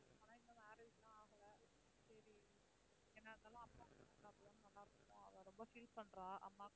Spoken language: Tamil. ஆனா இன்னும் marriage எல்லாம் ஆகல. சரி என்ன இருந்தாலும் நல்லா இருந்திருக்கும். அவள் ரொம்ப feel பண்றா அம்மா .